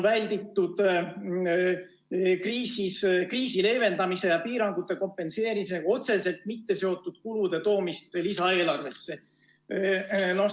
Välditud on kriisi leevendamise ja piirangute kompenseerimisega otseselt mitte seotud kulude toomist lisaeelarvesse.